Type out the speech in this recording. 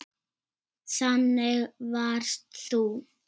Þannig varst þú.